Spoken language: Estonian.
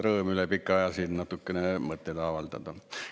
Rõõm üle pika aja siin natukene mõtteid avaldada.